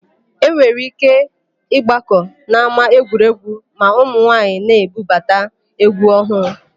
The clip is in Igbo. E nwere íké ịgbakọ n'ámáegwuregwu ma ụmụnwaayị na-ebupụta égwú ọhụụ.